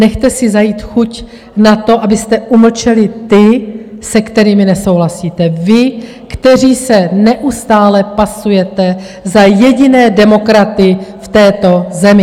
Nechte si zajít chuť na to, abyste umlčeli ty, s kterými nesouhlasíte vy, kteří se neustále pasujete za jediné demokraty v této zemi!